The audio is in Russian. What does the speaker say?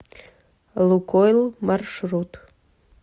лукойл маршрут